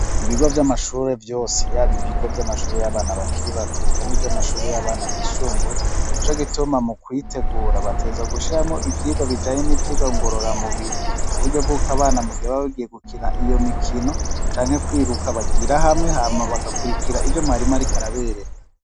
Ibigo vy'amashure vyose, yaba ibigo vy'amashure y'abana bakiri bato, eka n'ivyo amashuri y'abana bisumbuye, nico gituma mu kwitegura, bategerezwa gushiramwo ivyigwa bijanye n'ivyigwa ngororamubiri kuburyo bw'uko abana mugihe baba bagiye gukina iyo mikino, canke kwiruka bagira hamwe, hama bagakurikira ivyo mwarimu ariko arabereka.